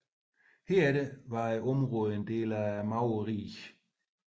Herefter var området en del af maurernes rige